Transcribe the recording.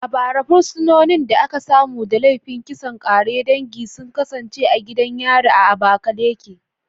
A bara, fursunonin da aka samu da laifin kisan ƙare dangi sun kasance a gidan yari a Abakaleke